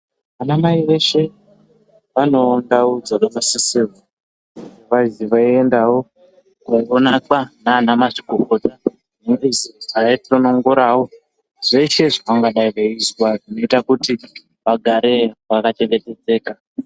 Ana mai veshe vanewo ndau dzavanosisirwe veiendawo koonekwa nana mazvikokota weizi aye tonongorawo zvese zvacangadai veizwa zvoita kuti vagare vakachengetedzeka .